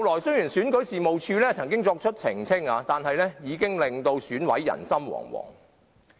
雖然選舉事務處後來曾經作出澄清，但各選委已是人心惶惶。